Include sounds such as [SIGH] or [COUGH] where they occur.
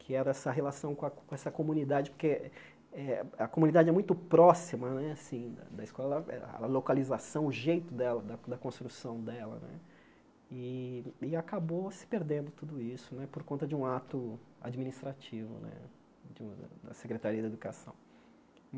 que era essa relação com a com essa comunidade, porque eh a comunidade é muito próxima né assim da escola, a localização, o jeito dela, da da construção dela né, e acabou se perdendo tudo isso por conta de um ato administrativo né [UNINTELLIGIBLE] da Secretaria da Educação.